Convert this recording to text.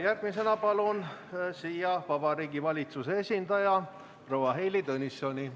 Järgmisena palun siia Vabariigi Valitsuse esindaja proua Heili Tõnissoni.